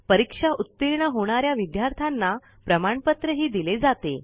परीक्षेत उत्तीर्ण होणाऱ्या विद्यार्थ्यांना प्रमाणपत्र दिले जाते